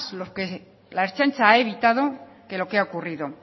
lo que la ertzaintza ha evitado que lo que ha ocurrido